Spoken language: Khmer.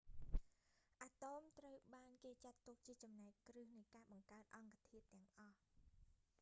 អាតូមត្រូវបានគេចាត់ទុកជាចំណែកគ្រឹះនៃការបង្កើតអង្គធាតុទាំងអស់